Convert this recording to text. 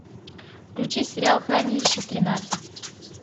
включи сериал хранилище тринадцать